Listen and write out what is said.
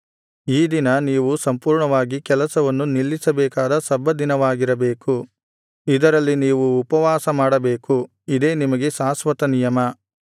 ಈ ದಿನ ನೀವು ಸಂಪೂರ್ಣವಾಗಿ ಕೆಲಸವನ್ನು ನಿಲ್ಲಿಸಬೇಕಾದ ಸಬ್ಬತ್ ದಿನವಾಗಿರಬೇಕು ಇದರಲ್ಲಿ ನೀವು ಉಪವಾಸ ಮಾಡಬೇಕು ಇದೇ ನಿಮಗೆ ಶಾಶ್ವತನಿಯಮ